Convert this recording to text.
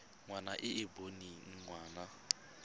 ngwana e e boneng ngwana